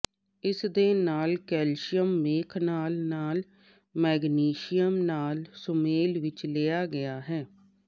ਇਸ ਦੇ ਨਾਲ ਕੈਲਸ਼ੀਅਮ ਮੇਖ ਨਾਲ ਨਾਲ ਮੈਗਨੀਸ਼ੀਅਮ ਨਾਲ ਸੁਮੇਲ ਵਿੱਚ ਲਿਆ ਗਿਆ ਹੈ